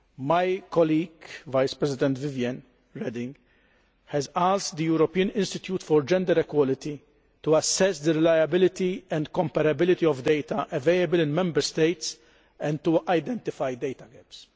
My colleague, Vice President Viviane Reding, has asked the European Institute for Gender Equality to assess the reliability and comparability of data available in Member States and to identify data gaps.